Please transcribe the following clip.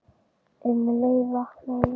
Um leið vaknaði ég.